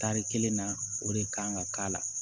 Tari kelen na o de kan ka k'a la